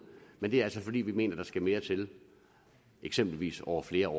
men det er altså fordi vi mener at der skal mere til eksempelvis over flere